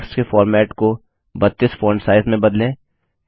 text के format को 32 font size में बदलें